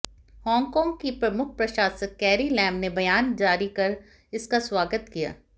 Hong Kong की प्रमुख प्रशासक कैरी लैम ने बयान जारी कर इसका स्वागत किया